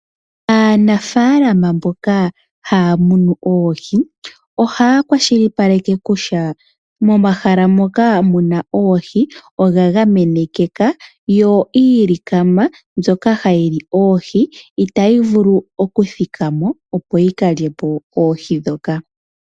Aanafalama mboka haya munu oohi, ohaya kwashilipaleke kutya, momahala mpoka muna oohi ogagamenekeka yo iilikama mbyoka hayili oohi itayi vulu okuthikamo opo yikalyepo oohi dhoka.